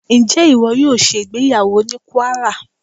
Ǹjẹ́ ìwọ yóò ṣe ìgbéyàwó ní Kwárà?